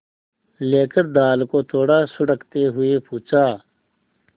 लेकर दाल को थोड़ा सुड़कते हुए पूछा